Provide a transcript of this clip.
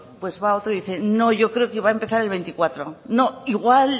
pues va otro y dice no yo creo que va a empezar el veinticuatro no igual